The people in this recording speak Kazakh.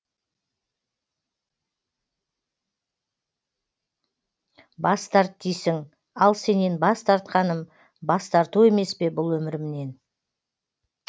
бас тарт дейсің ал сенен бас тартқаным бас тарту емеспе бұл өмірімнен